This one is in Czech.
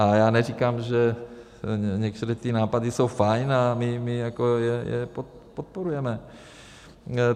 A já neříkám, že některé ty nápady jsou fajn a my jako je podporujeme.